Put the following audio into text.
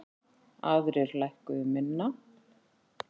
Aðrir lækkuðu minna.